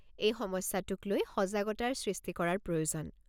এই সমস্যাটোক লৈ সজাগতাৰ সৃষ্টি কৰাৰ প্ৰয়োজন।